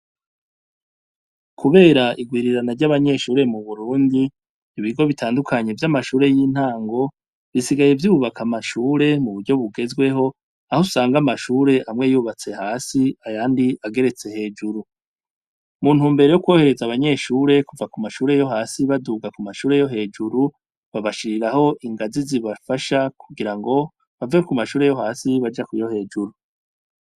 Kubera irwirirana ry'abanyeahure mu Burundi, ibigo bitandukanye vy'amashure y'intango, bisigaye vyubaka amashure mu buryo bugezweho, aho usanga amashure amwe yubatse hasi, ayandi ageretse hejuru; mu ntumbero yo kworohereza abanyeshure kuva ku mashure yo hasi baduga kuyo hejuru, babashiriraho ingazi zibafasha kugirango, bave ku mashure yo hasi baja kuyo hejuru.